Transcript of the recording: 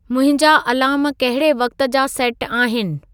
मुंहिंजा अलारम कहिड़े वक़्त जा सेटु आहिनि